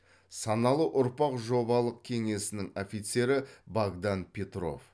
саналы ұрпақ жобалық кеңесінің офицері богдан петров